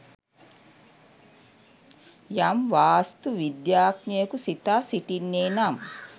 යම් වාස්තු විද්‍යාඥයකු සිතා සිටින්නේ නම්